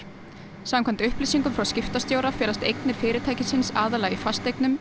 samkvæmt upplýsingum frá skiptastjóra felast eignir fyrirtækisins aðallega í fasteignum